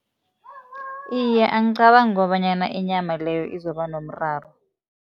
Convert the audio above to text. Iye, angicabangi kobanyana inyama leyo izoba nomraro.